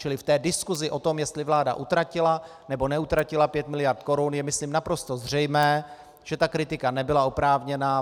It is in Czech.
Čili v té diskusi o tom, jestli vláda utratila, nebo neutratila pět miliard korun, je myslím naprosto zřejmé, že ta kritika nebyla oprávněná.